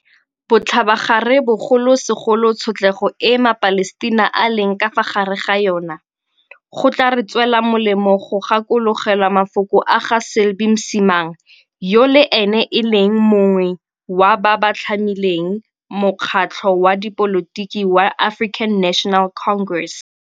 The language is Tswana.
Botlhabagare bogolosegolo tshotlego e maPalestina a leng ka fa gare ga yona, go tla re tswela molemo go gakologelwa mafoko a ga Selby Msimang, yo le ene e leng yo mongwe wa ba ba tlhamileng mokgatlho wa dipolotiki wa African National Congress.